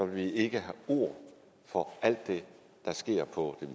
vi ikke have ord for alt det der sker på det